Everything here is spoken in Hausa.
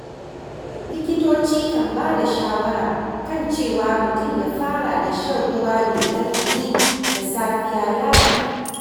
Likitoci kan bada shawara kan cewa mutum ya fara da shan ruwa mai ɗan ɗumi da safiya ya fi.